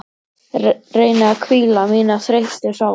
Reyni að hvíla mína þreyttu sál.